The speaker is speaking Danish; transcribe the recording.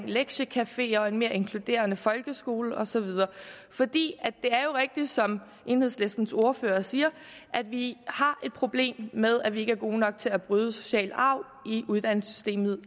lektiecafeer og en mere inkluderende folkeskole og så videre det er jo rigtigt som enhedslistens ordfører siger at vi har et problem med at vi ikke er gode nok til at bryde den sociale arv i uddannelsessystemet